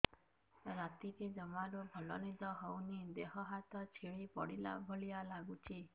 ରାତିରେ ଜମାରୁ ଭଲ ନିଦ ହଉନି ଦେହ ହାତ ଛିଡି ପଡିଲା ଭଳିଆ ଲାଗୁଚି